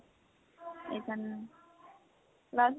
এইকাৰণে class